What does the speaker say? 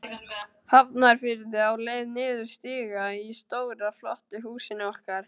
Hafnarfirði, á leið niður stiga í stóra, flotta húsinu okkar.